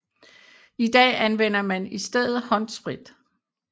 I dag anvender man i stedet håndsprit